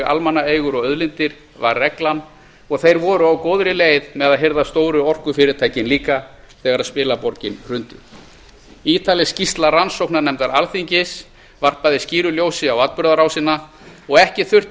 almannaeigur og auðlindir var reglan og þeir voru á góðri leið með að hirða stóru orkufyrirtækin líka þegar spilaborgin hrundi ítarleg skýrsla rannsóknarnefndar alþingis varpaði skýru ljósi á atburðarásina og ekki þurfti